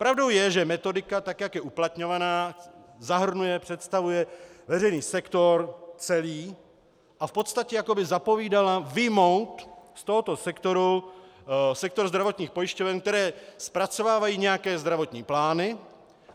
Pravdou je, že metodika, tak jak je uplatňovaná, zahrnuje, představuje veřejný sektor celý a v podstatě jako by zapovídala vyjmout z tohoto sektoru sektor zdravotních pojišťoven, které zpracovávají nějaké zdravotní plány.